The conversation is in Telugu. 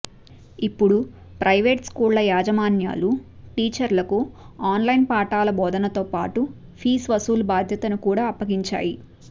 ఇప్పుడు ప్రైవేటు స్కూళ్ల యాజమాన్యాలు టీచర్లకు ఆన్లైన్ పాఠాల బోధనతో పాటు ఫీజు వసూలు బాధ్యతను కూడా అప్పగించాయి